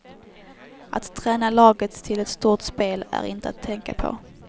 Att träna laget till ett stort spel är inte att tänka på.